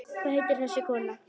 Hvað heitir þessi kona?